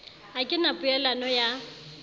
ha ke na pelaelo ya